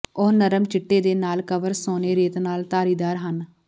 ਉਹ ਨਰਮ ਚਿੱਟੇ ਦੇ ਨਾਲ ਕਵਰ ਸੋਨੇ ਰੇਤ ਨਾਲ ਧਾਰੀਦਾਰ ਹਨ